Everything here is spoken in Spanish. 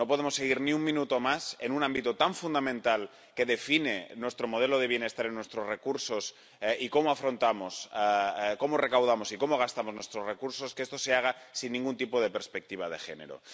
No podemos seguir ni un minuto más en un ámbito tan fundamental, que define nuestro modelo de bienestar y nuestros recursos y cómo afrontamos, cómo recaudamos y cómo gastamos nuestros recursos, sin que esto se haga sin ningún tipo de perspectiva de género.